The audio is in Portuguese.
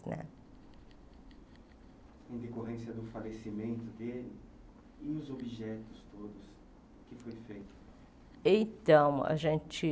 Né Em decorrência do falecimento dele, e os objetos todos~o que foi feito? Então a gente